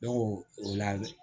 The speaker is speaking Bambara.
Ne ko o la